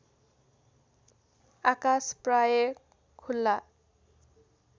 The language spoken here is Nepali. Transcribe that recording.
आकास प्रायः खुला